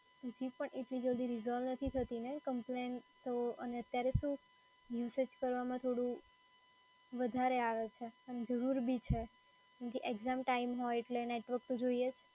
જી પણ, એટલી જલ્દી resolve નથી થતીને કમ્પ્લેન તો અને અત્યારે શું usage કરવામાં થોડું વધારે આવે છે અને જરૂર બી છે કેમ કે exam time હોય એટલે નેટવર્ક તો જોઈએ જ.